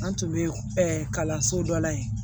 An tun bɛ kalanso dɔ la yen